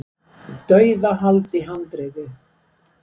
Dauðahald í handriðið.